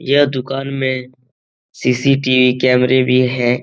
ये दुकान मे सी.सी.टी.वी कैमरे भी है ।